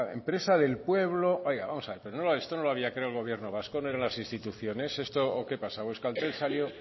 empresa del pueblo oiga vamos a ver pero esto no lo había creado el gobierno vasco no eran las instituciones o qué pasa o euskaltel salió